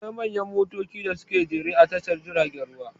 Da akwai manyan motoci da suka jere a tashar jiragen ruwa